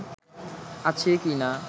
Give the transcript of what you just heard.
আছি কিনা